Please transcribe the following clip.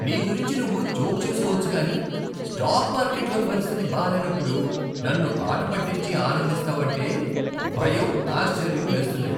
నీ గురించి నువ్వు జోక్ చేసుకోవచ్చు కానీ స్టాక్ మార్కెట్లో పరిస్థితి బాలేనప్పుడు నన్ను ఆట పట్టించి ఆనందిస్తావంటే భయం, ఆశ్చర్యం వేస్తున్నాయి.